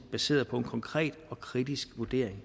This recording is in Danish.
baseret på en konkret og kritisk vurdering